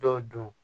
Dɔw don